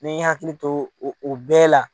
N mɛ hakili to o o bɛɛ la.